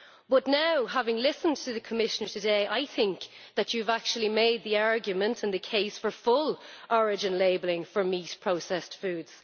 But now, having listened to you today, I think that you have actually made the argument and the case for full origin labelling for meat in processed foods.